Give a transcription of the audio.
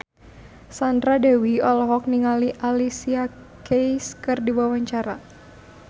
Sandra Dewi olohok ningali Alicia Keys keur diwawancara